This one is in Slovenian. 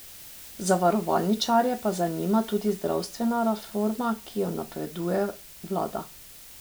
Zavarovalničarje pa zanima tudi zdravstvena reforma, ki jo napoveduje vlada.